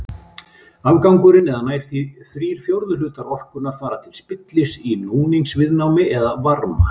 Afgangurinn eða nær þrír fjórðu hlutar orkunnar fara til spillis í núningsviðnámi eða varma.